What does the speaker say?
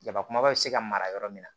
Daba kumabaw bɛ se ka mara yɔrɔ min na